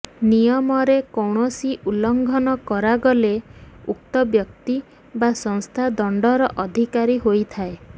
ନିୟମରେ କୌଣସି ଉଲ୍ଲଙ୍ଘନ କରାଗଲେ ଉକ୍ତ ବ୍ୟକ୍ତି ବା ସଂସ୍ଥା ଦଣ୍ଡର ଅଧିକାରୀ ହୋଇଥାଏ